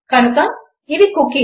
కనుక ఇవి కుకీస్